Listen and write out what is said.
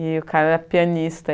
E o cara era pianista.